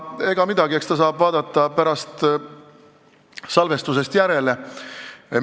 Ega midagi, eks ta saab pärast salvestusest järele vaadata.